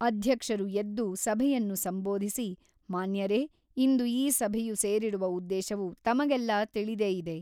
ಅಧ್ಯಕ್ಷರು ಎದ್ದು ಸಭೆಯನ್ನು ಸಂಬೋಧಿಸಿ ಮಾನ್ಯರೆ ಇಂದು ಈ ಸಭೆಯು ಸೇರಿರುವ ಉದ್ದೇಶವು ತಮಗೆಲ್ಲ ತಿಳಿದೇ ಇದೆ.